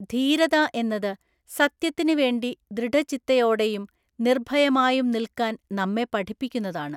ധീരത എന്നത് സത്യത്തിന് വേണ്ടി ദൃഢചിത്തയോടെയും നിര്ഭയമായും നില്ക്കാന്‍ നമ്മെ പഠിപ്പിക്കുന്നതാണ്.